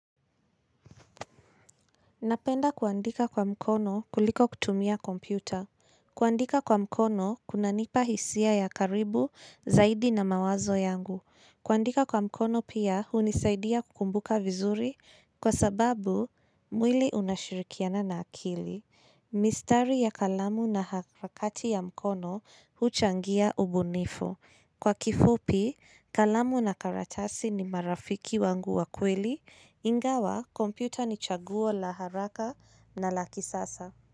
Napenda kuandika kwa mkono kuliko kutumia kompyuta. Kuandika kwa mkono kunanipa hisia ya karibu zaidi na mawazo yangu. Kuandika kwa mkono pia hunisaidia kukumbuka vizuri kwa sababu mwili unashirikiana na akili. Mistari ya kalamu na harakati ya mkono huchangia ubunifu. Kwa kifupi, kalamu na karatasi ni marafiki wangu wa kweli, ingawa kompyuta ni chaguo la haraka na la kisasa.